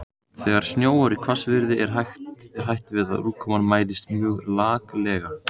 Þegar snjóar í hvassviðri er hætt við að úrkoman mælist mjög laklega.